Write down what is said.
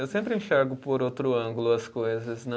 Eu sempre enxergo por outro ângulo as coisas, né?